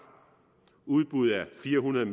udbud af fire hundrede